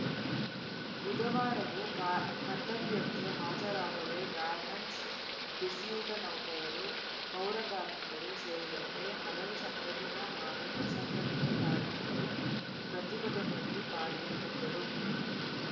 ಬುಧವಾರವೂ ಕ ಕರ್ತವ್ಯಕ್ಕೆ ಹಾಜರಾಗದೆ ಗಾರ್ಮೆಂಟ್ಸ್‌ ಬಿಸಿಯೂಟ ನೌಕರರು ಪೌರಕಾರ್ಮಿಕರು ಸೇರಿದಂತೆ ಹಲವು ಸಂಘಟಿತ ಹಾಗೂ ಅಸಂಘಟಿತ ಕಾರ್ಮಿಕರು ಪ್ರತಿಭಟನೆಯಲ್ಲಿ ಪಾಲ್ಗೊಂಡಿದ್ದರು